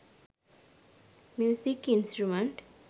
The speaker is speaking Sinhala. music instrument